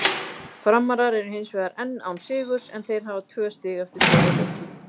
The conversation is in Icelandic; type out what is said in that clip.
Framarar eru hinsvegar enn án sigurs en þeir hafa tvö stig eftir fjóra leiki.